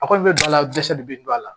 A kɔni bɛ don a la dɛsɛli bɛ don a la